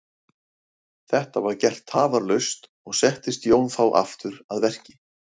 Þetta var gert tafarlaust og settist Jón þá aftur að verki.